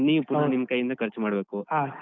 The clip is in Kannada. ನೀವ್ ಪುನಃ ನಿಮ್ ಕಯ್ಯಿಂದನೆ ಖರ್ಚ್ ಮಾಡ್ಬೇಕು.